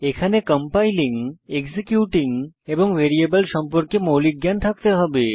এখানে compiling executing এবং variable সম্পর্কে মৌলিক জ্ঞান থাকতে হবে